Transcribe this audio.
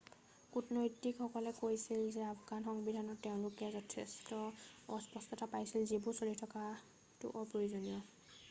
কূটনৈতিকসকলে কৈছিল যে আফগান সংবিধানত তেওঁলোকে যথেষ্ট অস্পষ্টতা পাইছিল যিবোৰ চলি থকাটো অপ্ৰয়োজনীয়